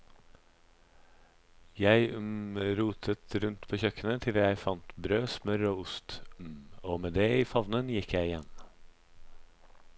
Jeg rotet rundt på kjøkkenet til jeg fant brød, smør og ost, og med det i favnen gikk jeg igjen.